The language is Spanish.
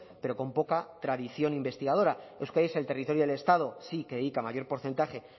pero con poca tradición investigadora euskadi es el territorio del estado sí que dedica mayor porcentaje